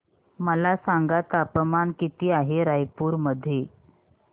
मला सांगा तापमान किती आहे रायपूर मध्ये